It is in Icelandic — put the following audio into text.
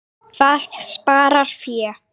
Það sparar fé.